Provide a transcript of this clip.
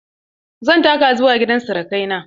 Zan taka zuwa gidan sirukai na.